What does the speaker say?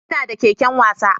Ina da keken wasa